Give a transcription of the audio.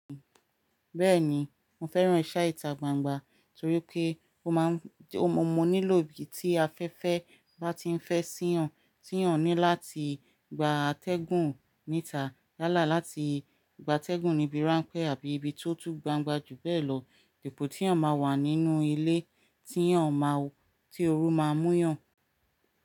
Bẹ́ẹ̀ni mo fẹ́ràn iṣẹ́ ìta gbangba torí pé ó mọ́ mi nílò bí tí afẹ́fẹ́ bá ti ń fẹ́ sí èèyàn, tí èèyàn ní láti gba atẹ́gùn níta yálà láti gba atẹ́gùn ní ibi ránpẹ́ àbí ibi tó tú gbangba jù bẹ́ẹ̀ lọ, ipò tí ọ̀n máa wà nínú ilé tí òru máa mú yàn.